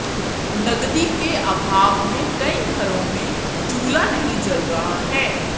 नगदी के अभाव में कई घरो में चूल्हा नही जल रहा है